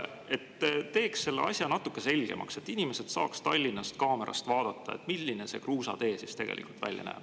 See teeks selle asja natuke selgemaks, kui inimesed saaks Tallinnast kaamerast vaadata, milline see kruusatee siis tegelikult välja näeb.